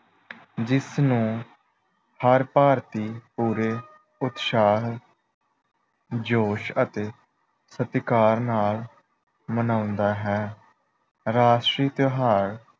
ਜਿਸ ਨੂੰ ਹਰ ਭਾਰਤੀ ਪੂਰੇ ਉਤਸ਼ਾਹ ਜੋਸ਼ ਅਤੇ ਸਤਿਕਾਰ ਨਾਲ ਮਨਾਉਂਦਾ ਹੈ। ਰਾਸ਼ਟਰੀ ਤਿਉਹਾਰ